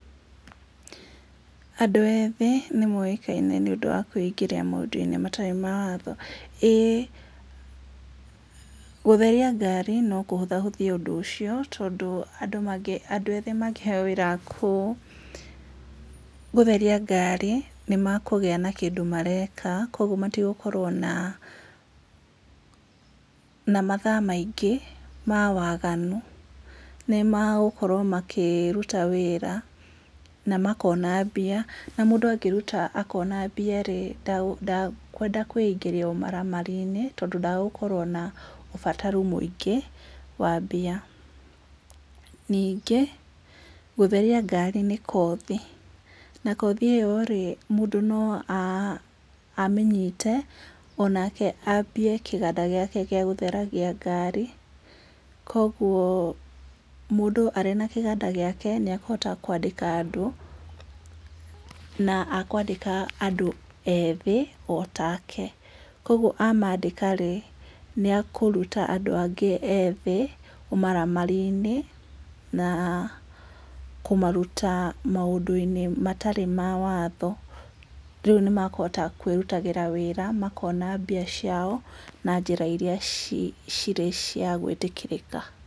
Andũ ethĩ nĩ moĩkaine nĩ ũndũ wa kwĩingĩria maũndũ-inĩ matarĩ ma watho. Ĩĩ gũtheria ngari no kũhũthahũthie ũndũ ũcio, tondũ andũ athĩ mangĩheo gũtheria ngari no makorwo harĩ na ũndũ mareka kwoguo matigũkorwo na mathaa maingĩ ma waganu nĩ magũkorwo makĩruta wĩra makona mbia, na mũndũ angĩruta akona mbia rĩ ndakwenda kwĩngĩria ũmaramari-inĩ tondũ ndagũkorwo na ũbataru mũingĩ wa mbia, ningĩ ngari nĩ kothi na kothi ĩyo mũndũ no amĩnyite na mũndũ anjie kĩganda gĩake gĩa gũtheragia ngari, kwoguo mũndũ arĩ na kĩganda gĩake nĩ akũhota kwandĩka andũ na akwandĩka andũ ethĩ ota ke, kwoguo amandĩka nĩ ekũruta andũ angĩ ethĩ ũmaramari-inĩ na kumaruta maũndũ mangĩ matarĩ ma watho, rĩu nĩ makũhota kwĩrutĩra wĩra na makona mbia ciao na njĩra iria cirĩ cia gwĩtĩkĩrĩka.